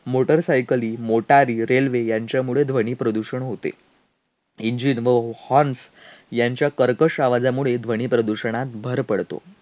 motor सायकली, मोटारी, railway यांच्यामुळे ध्वनीप्रदूषण होते. engine व horns यांच्या कर्कश आवाजमुळे ध्वनी प्रदूषणात भर पडतो.